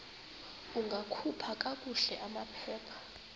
ungakhupha kakuhle amaphepha